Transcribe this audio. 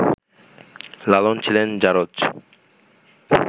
লালন ছিলেন ‘জারজ’